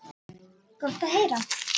Gott að heyra.